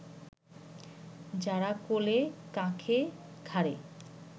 যারা কোলে-কাঁখে, ঘাড়ে